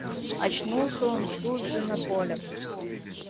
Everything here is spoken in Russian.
очнулся он тут же на поле